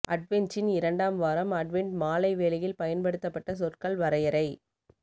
அட்வென்ச்சின் இரண்டாம் வாரம் அட்வென்ட் மாலை வேளையில் பயன்படுத்தப்பட்ட சொற்கள் வரையறை